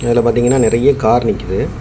இதுல பாத்தீங்கன்னா நெறிய கார் நிக்குது.